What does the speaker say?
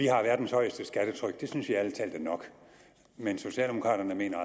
har verdens højeste skattetryk og det synes vi ærlig talt er nok men socialdemokraterne mener